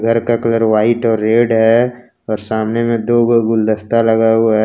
घर का colour white और रेड है और सामने में दो गो गुलदस्ता लगा हुआ है।